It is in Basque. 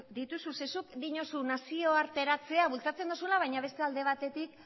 dituzu ze zuk diozu nazioarteratzea bultzatzen duzula baina beste alde batetik